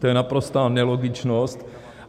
To je naprostá nelogičnost.